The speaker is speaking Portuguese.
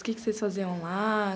O que vocês faziam lá?